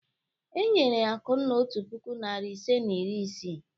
E nyere Akunna otu puku, narị ise na iri isii.